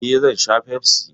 Eh, zan sha Pepsi.